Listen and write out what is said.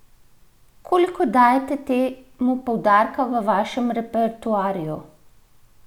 Koliko dajete temu poudarka v vašem repertoarju?